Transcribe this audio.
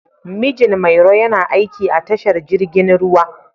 Mijin Mairo yana aiki a tashar jirgin ruwa.